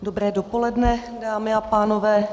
Dobré dopoledne, dámy a pánové.